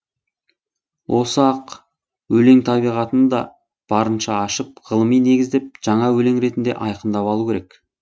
осы ақ өлең табиғатын да барынша ашып ғылыми негіздеп жаңа өлең ретінде айқындап алу керек